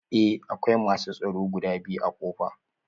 Eh akwai masu tsaro guda biyu a ƙofa?